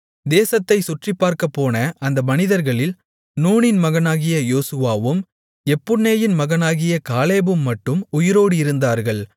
தேசத்தைச் சுற்றிப் பார்க்கப்போன அந்த மனிதர்களில் நூனின் மகனாகிய யோசுவாவும் எப்புன்னேயின் மகனாகிய காலேபும் மட்டும் உயிரோடு இருந்தார்கள்